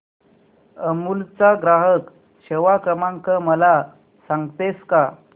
अमूल चा ग्राहक सेवा क्रमांक मला सांगतेस का